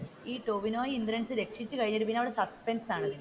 ഈ ടോവിനോ ഇന്ദ്രൻസിനെ രക്ഷിച്ചു കഴിഞ്ഞിട്ട് പിന്നെ അവിടെ സസ്പെൻസ് ആണ്.